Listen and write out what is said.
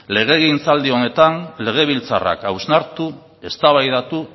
legegintzaldi honetan legebiltzarrak hausnartu eztabaidatu